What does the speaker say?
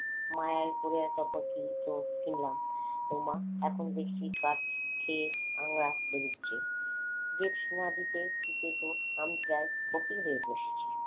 মায়ায় পড়ে তো এত জায়গা কিনলাম ওমা এখন দেখছি বাংলা বেরোচ্ছে দেবসেনা ফকির হয়ে বসে আছি